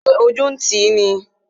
Ṣé ojú ń ti ní?